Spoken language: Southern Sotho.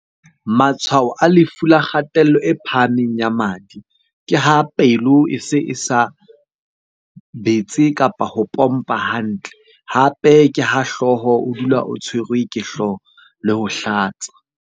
Matshwao a lefu la kgatello e phahameng ya madi ke ha pelo e se e sa betse, kapa ho pompa hantle. Hape ke ha hlooho, o dula o tshwerwe ke hlooho le ho hlatsa.